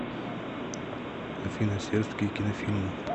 афина сербские кинофильмы